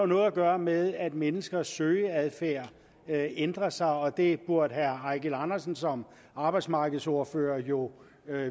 noget at gøre med at menneskers søgeadfærd ændrer sig og det burde herre eigil andersen som arbejdsmarkedsordfører jo